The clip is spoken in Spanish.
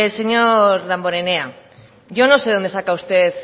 señor damborenea yo no sé de dónde saca usted